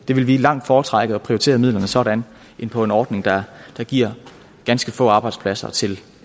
langt foretrække at prioritere midlerne sådan end på en ordning der giver ganske få arbejdspladser til